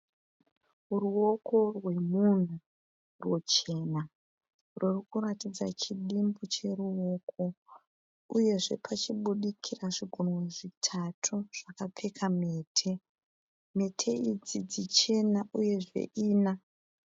Ruoko rwemunhu ruchena rurikuratidza chidimu cheruoko uyezve pachibudikira zvigunwe zvitatu zvakapfeka mhete, mhete idzi dzichena uyezve ina.